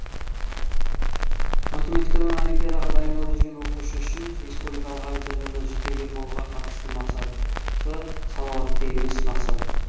математикадан олимпиадаға дайындалып жүрген оқушы үшін республикалық олимпиадада жүлдегер болуға қатысты мақсаты салауатты емес мақсат